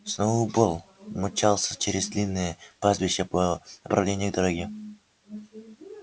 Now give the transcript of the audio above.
сноуболл мчался через длинное пастбище по направлению к дороге